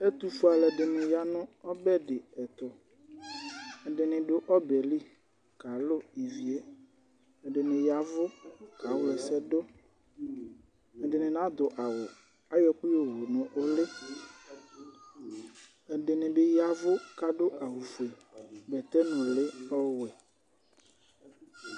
Ɛtufue aluɛdini ya nu ɔbɛtu ɛdini du ɔbɛli kalu ɛdini yavu ka ɣla ɛsɛdu ɛdini nadu awu ayɔ ɛku yowu nu uli ɛdini bi yavu adu awu fue bɛtɛ nuli ɔwɛ